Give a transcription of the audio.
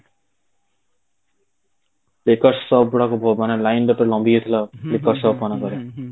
ପିଲାଙ୍କୁ ମାନେ line ଭିତରେ ଲମ୍ବି ଯାଇଥିଲା ମାନଙ୍କରେ